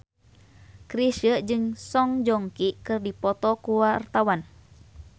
Chrisye jeung Song Joong Ki keur dipoto ku wartawan